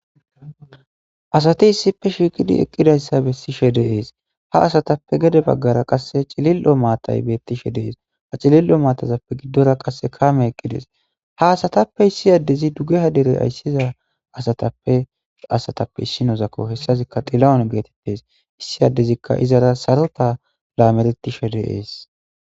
Asati issippe shiqqidi eqqidayssa bessishe de'es dess ha assape gede baggara qasse cillilo maatay bettishe de'es ha cillilo maatape giddora qasse kaamey eqqides ha asatappe issi adezi duggeha deere ayssiza assatape issinozako hessazika xilahune gettetes issi adezi izzara saaroteta lametishe de'es.